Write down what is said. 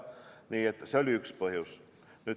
Nii et see oli üks põhjus.